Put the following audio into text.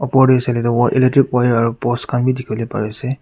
opor tae sailae tu wa electric wire aro post khan bi dikhiwo lae parease.